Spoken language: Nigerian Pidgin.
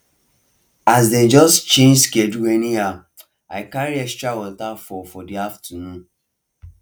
as dem just change schedule anyhow i carry extra water for for the afternoon